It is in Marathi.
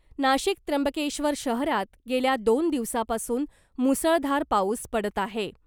नाशिक त्र्यंबकेश्वर शहरात गेल्या दोन दिवसापासून मुसळधार पाऊस पडत आहे .